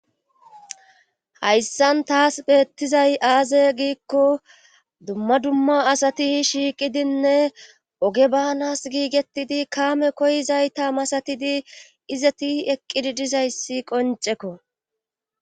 hayssan taas beettizay aaze giikko dumma dumma asati shiiqidinne oge baanas giigettidi kaame koyizayta masatidi izeti eqqidi dizayssi qoncekko